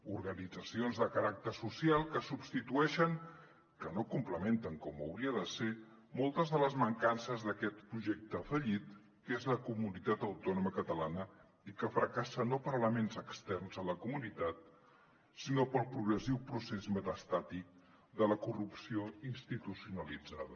organitzacions de caràcter social que substitueixen que no complementen com hauria de ser moltes de les mancances d’aquest projecte fallit que és la comunitat autònoma catalana i que fracassa no per elements externs a la comunitat sinó pel progressiu procés metastàtic de la corrupció institucionalitzada